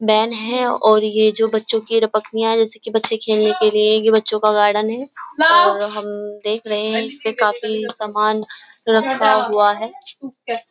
Main हैं और ये जो बच्चों की रपकनिया हैं जैसे की बच्चे खेलने के लिए ये बच्चों का गार्डन हैं और हम देख रहे हैं इसपे काफी सामान रखा हुआ हैं।